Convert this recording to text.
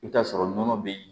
I bɛ t'a sɔrɔ nɔnɔ bɛ yen